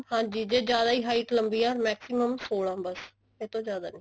ਹਾਂਜੀ ਜੇ ਜਿਆਦਾ ਹੀ height ਲੰਬੀ ਹੈ ਤਾਂ maximum ਸੋਲਾਂ ਬੱਸ ਇਹ ਤੋਂ ਜਿਆਦਾ ਨਹੀਂ